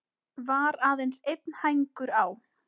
Var aðeins einn hængur á.